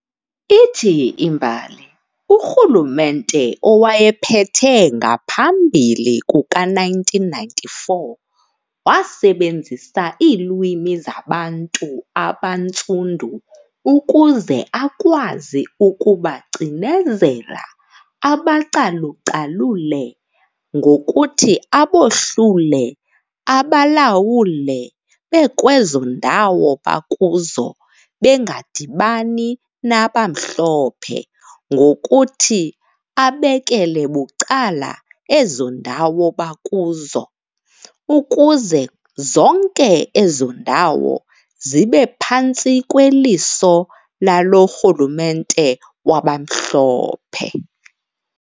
Ithi imbali, urhulumente owayephethe ngaphambili kuka1994 wasebenzisa iilwimi zabantu abantsundu ukuze akwazi ukubacinezela, abacalucalule, ngokuthi abohlule abalawule bekwezo ndawo bakuzo bengadibani nabamhlophe ngokuthi abekela bucala ezo ndawo bakuzo, ukuze zonke ezo ndawo zibe phantsi kweliso lalo rhulumente wabamhlophe.